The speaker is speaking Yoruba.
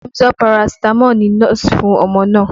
Emzor Paracetamol ni nọ́ọ̀sì fún ọmọ náà